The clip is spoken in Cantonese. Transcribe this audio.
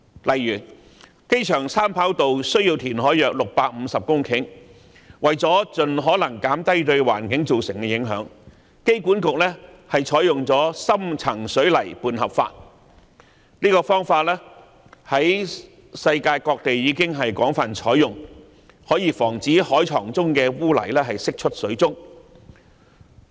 例如，機場三跑需填海約650公頃，為了盡可能減低對環境造成的影響，香港機場管理局採用了深層水泥拌合法，這方法在世界各地已廣泛採用，可以防止海床中的污泥釋出水中。